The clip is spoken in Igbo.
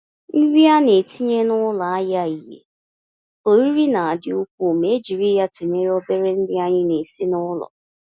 Nri ana-etinye n'ụlọ ahịa ìhè oriri na-adị ukwuu ma e jiri ya tụnyere obere nri anyị na-esi n'ụlọ.